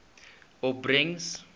opbrengs